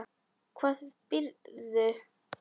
Hvar býrðu þá?